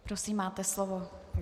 Prosím, máte slovo.